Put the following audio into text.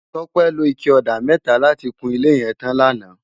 Tope ló iké òdá mètá làtí kún ilé yèn tán làná